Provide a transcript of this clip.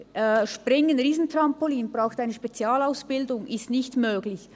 Springen, Riesentrampolin – braucht eine Spezialausbildung: ist nicht möglich.